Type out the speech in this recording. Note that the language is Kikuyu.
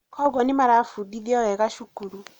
kwoguo nĩmarabudithio wega cukuru